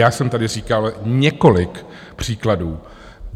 Já jsem tady říkal několik příkladů.